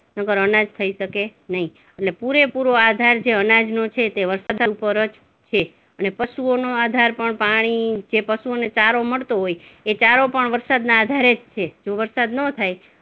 નહીંતર અનાજ થઇ શકી નહિ, એટલે પુરેપુરો આધાર જે અનાજનો જે છે તે વરસાદ ઉપર જ છે અને પશુઓનો આધાર પણ પાણી, જે પશુને ચારો મળતો હોય એ ચારો પણ વરસાદના આધારે જ છે, જો વરસાદ નો થાય